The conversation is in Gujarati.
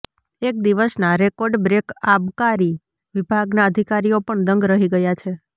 એક દિવસના રેકોર્ડબ્રેક આબકારી વિભાગના અધિકારીઓ પણ દંગ રહી ગયા છે